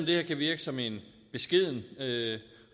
det her kan virke som en beskeden